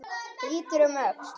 Lítur um öxl.